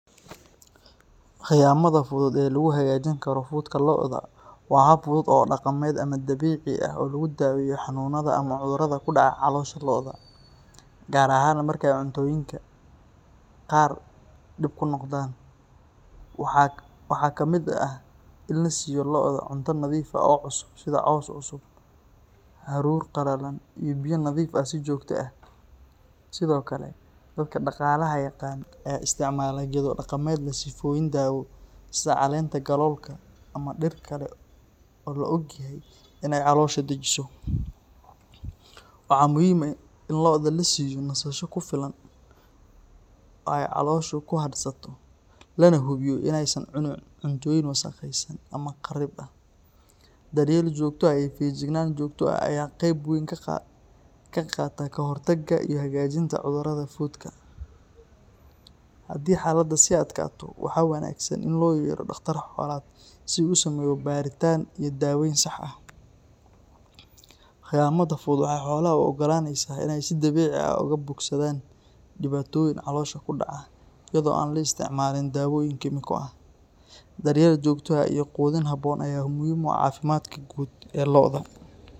Khiyamada fudud ee lagu hagaajin karo fudka lo’da waa hab fudud oo dhaqameed ama dabiici ah oo lagu daaweeyo xanuunada ama cudurada ku dhaca caloosha lo’da, gaar ahaan marka ay cuntooyinka qaar dhib ku noqdaan. Waxaa kamid ah in la siiyo lo’da cunto nadiif ah oo cusub, sida caws cusub, haruur qalalan, iyo biyo nadiif ah si joogto ah. Sidoo kale, dadka dhaqaalaha yaqaan ayaa isticmaala geedo dhaqameed leh sifooyin daawo, sida caleenta galoolka ama dhir kale oo la og yahay inay caloosha dejiso. Waxaa muhiim ah in lo’da la siiyo nasasho kugu filan oo ay calooshu ku hadhsato, lana hubiyo in aysan cuni cuntooyin wasakhaysan ama qariib ah. Daryeel joogto ah iyo feejignaan joogto ah ayaa qayb weyn ka qaata ka hortagga iyo hagaajinta cudurada fudka. Haddii xaaladda sii adkaato, waxaa wanaagsan in loo yeero dhaqtar xoolaad si uu u sameeyo baaritaan iyo daaweyn sax ah. Khiyamada fudud waxay xoolaha u oggolaanaysaa inay si dabiici ah uga bogsadaan dhibaatooyin caloosha ku dhaca iyadoo aan la isticmaalin dawooyin kiimiko ah. Daryeel joogto ah iyo quudin habboon ayaa muhiim u ah caafimaadka guud ee lo’da.